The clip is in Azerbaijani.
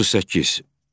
38.